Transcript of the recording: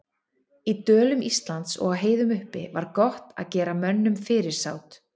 Í dölum Íslands og á heiðum uppi var gott að gera mönnum fyrirsát.